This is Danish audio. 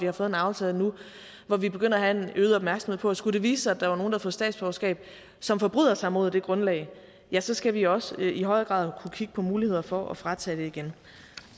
har fået en aftale hvor vi begynder at have en øget opmærksomhed på at skulle det vise sig at der var nogle der havde fået statsborgerskab og som forbryder sig mod grundlaget ja så skal vi også i højere grad kunne kigge på muligheder for at fratage dem det igen